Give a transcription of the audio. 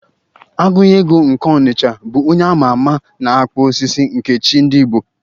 Agunyego nke n'Ọnịcha bụ onye a ma ama na-akpụ osisi nke chi ndị Igbo